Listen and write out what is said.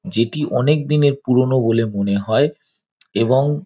যেটি অনেক দিনের পুরোনো বলে মনে হয় এবং--